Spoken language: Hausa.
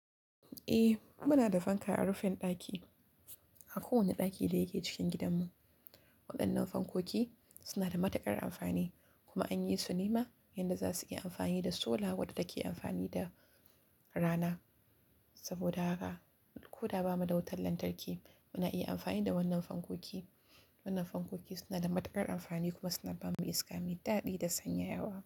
Eh muna da fanka a rufin ɗaki, a kowane ɗaki da yake cikin gidanmu. Waɗannan fankoki suna da matuƙar amfani kuma an yi su nema yanda za su iya amfani da sola wadda take amfani da rana. Saboda haka ko da ba mu da wutar lantarki muna iya amfani da wannan fankoki. Wannan fankoki suna da matuƙar amfani kuma suna ba mu iska mai daɗi da sanyayawa.